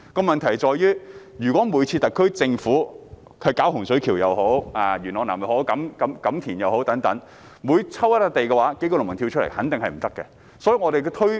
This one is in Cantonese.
問題在於，如果每次特區政府選定一些土地作發展用途時，例如洪水橋、元朗南或錦田等，也有數名農民反對，這樣是不行的。